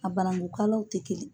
A banangukalaw tɛ kelen.